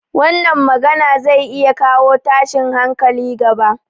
Wannan magana zai iya kawo tashin hankali gaba